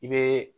I bɛ